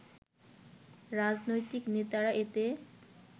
রাজনৈতিক নেতারা এতে